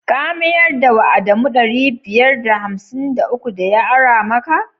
Ka mayar da wa adamu ɗari biyar da hamsin da uku da ya ara maka?